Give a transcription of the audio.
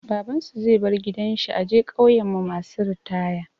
Baban su zai bar gidan shi a je ƙauyan mu masu ritaya.